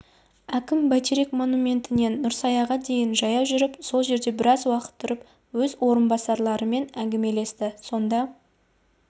әкім бәйтерек монументінен нұрсаяға дейін жаяу жүріп сол жерде біраз уақыт тұрып өз орынбасарларымен әңгімелесті сонда